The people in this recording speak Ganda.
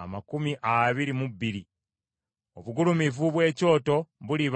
amakumi abiri mu bbiri. Obugulumivu bw’ekyoto buliba: